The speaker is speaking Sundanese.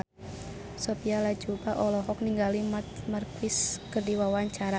Sophia Latjuba olohok ningali Marc Marquez keur diwawancara